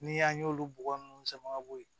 Ni an y'olu bɔgɔ nunnu sama ka bɔ yen